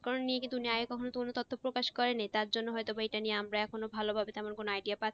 কারন প্রকাশ করেননি তার জন্য হয়তো ওইটা নিয়ে আমরা তেমন কোনো idea পাচ্ছিনা।